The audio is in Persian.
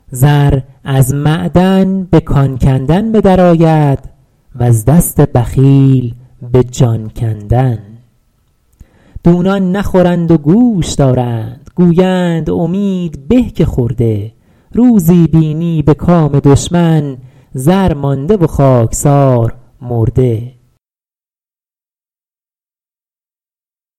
زر از معدن به کان کندن به در آید وز دست بخیل به جان کندن دونان نخورند و گوش دارند گویند امید به که خورده روزی بینی به کام دشمن زر مانده و خاکسار مرده